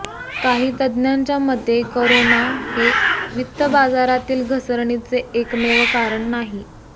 काही तज्ज्ञांच्या मते करोना हे वित्तबाजारातील घसरणीचे एकमेव कारण नाही